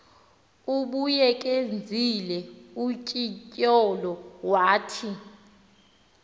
ubuyekezile utyindyolo wathi